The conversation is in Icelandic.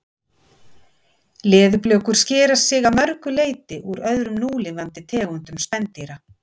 Leðurblökur skera sig að mörgu leyti úr öðrum núlifandi tegundum spendýra.